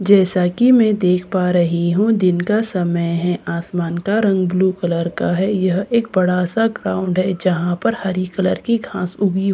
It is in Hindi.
जैसा कि मैं देख पा रही हूं दिन का समय है आसमान का रंग ब्लू कलर का है यह एक बड़ा सा ग्राउंड है जहां पर हरी कलर की घास उगी हुई है ।